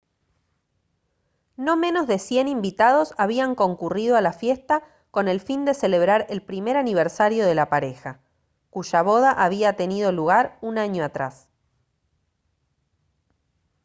no menos de 100 invitados habían concurrido a la fiesta con el fin de celebrar el primer aniversario de la pareja cuya boda había tenido lugar un año atrás